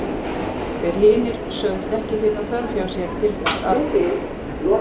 Þeir hinir sögðust ekki finna þörf hjá sér til þess arna.